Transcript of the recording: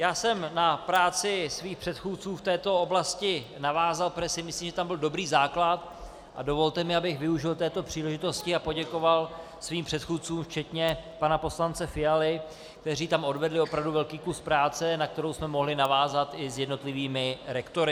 Já jsem na práci svých předchůdců v této oblasti navázal, protože si myslím, že tam byl dobrý základ, a dovolte mi, abych využil této příležitosti a poděkoval svým předchůdcům včetně pana poslance Fialy, kteří tam odvedli opravdu velký kus práce, na kterou jsme mohli navázat i s jednotlivými rektory.